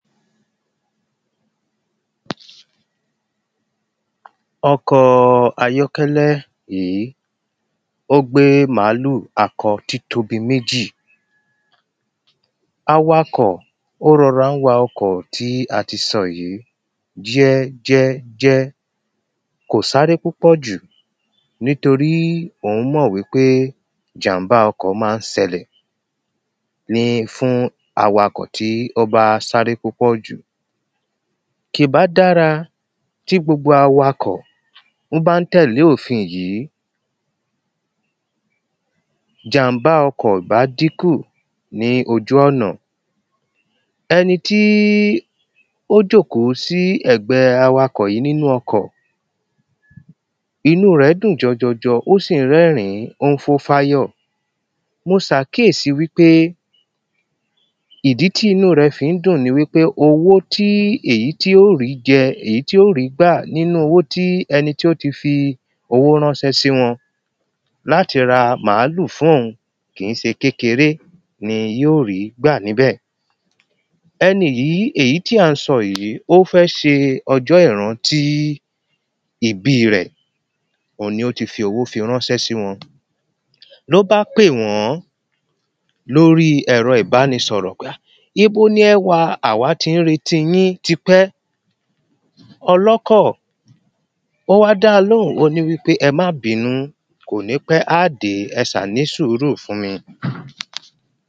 Ọkọ ayọ́kẹ́lẹ́ yí ó gbé màálù akọ títóbi méjì. Awakọ̀ ó rọrá ń wa ọkọ̀ tí a ti sọ jẹ́ jẹ́ jẹ́. Kò sáré púpọ̀ jù. Nítorí òún mọ̀ wípé ìjàm̀bá ọkọ̀ má ń sẹ́lẹ̀. ní fún awakọ̀ tó bá sáré púpọ̀ jù. Kì bá dára tí gbogbo awakọ̀ ń bá ń tẹ̀lé òfin yí. Ìjàm̀bá ọkọ̀ ò bá dínkù ní ojú ọ̀nà. Ẹni tí ó jòkó sí ẹ̀gbẹ awakọ̀ yí nínú ọkọ̀ Inú rẹ̀ dùn jọjọjọ ó sì ń rẹ́rin ó ń kún fáyọ̀. Mo sàkíyèsí wípé ìdí tí inú rẹ̀ fi ń dùn ni wípé owó tí èyí tí ó rí jẹ èyí tí ó rí gbà nínú owó tí ẹni tí ó ti fi owó ránnsẹ́ sí wọn. Láti ra màálù fún òun kì í se kékeré ni yó rí gbà níbẹ̀. Ẹni yí èyí tí à ń sọ yí ó fẹ́ se ọjọ́ ìrántí ìbí rẹ̀. Oun ni ó ti fi owó fi ránńsẹ́ sí wọn. Ló bá pè wọ́n lórí ẹ̀rọ ìbánisọ̀rọ̀ Pé a ibo lẹ wa àwá ti ń retí yín tipẹ́. Ọlọkọ̀ ó wá dá a lóhùn ó ní wípé ẹ má bínú. Kò ní pẹ́ á dé ẹ sà ní sùúrù fún mi.